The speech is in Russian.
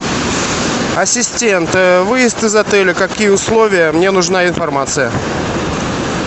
ассистент выезд из отеля какие условия мне нужна информация